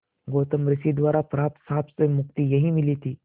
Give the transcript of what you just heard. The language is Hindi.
गौतम ऋषि द्वारा प्राप्त श्राप से मुक्ति यहाँ मिली थी